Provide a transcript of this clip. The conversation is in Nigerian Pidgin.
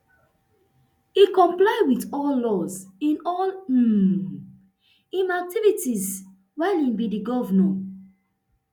e comply with all laws in all um im activities while e be di govnor